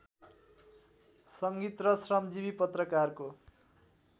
संगीत र श्रमजीवी पत्रकारको